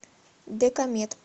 декамед